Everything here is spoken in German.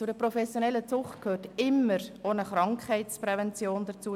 Zu einer professionellen Zucht gehört die Krankheitsprävention dazu.